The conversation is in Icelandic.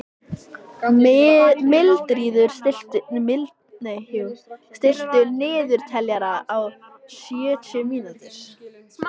Mildríður, stilltu niðurteljara á sjötíu mínútur.